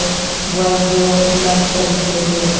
Wall जो glass का दिखाई दे रहा है।